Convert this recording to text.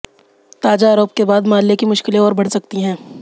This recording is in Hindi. ताजा आरोप के बाद माल्य की मुश्किलें और बढ़ सकती हैं